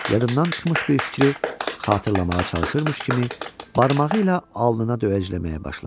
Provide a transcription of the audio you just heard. Yadından çıxmış bir fikri xatırlamağa çalışırmış kimi barmağı ilə alnına döyəcləməyə başladı.